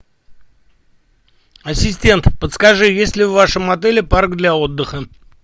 ассистент подскажи есть ли в вашем отеле парк для отдыха